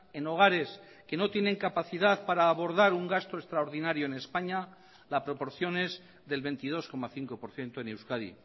en hogares que no tienen capacidad para abordar un gasto extraordinario en españa la proporción es del veintidós coma cinco por ciento en euskadi